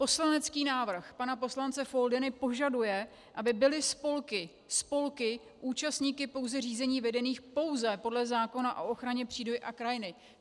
Poslanecký návrh pana poslance Foldyny požaduje, aby byly spolky - spolky - účastníky pouze řízení vedených pouze podle zákona o ochraně přírody a krajiny.